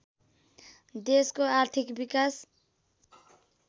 देशको आर्थिक विकास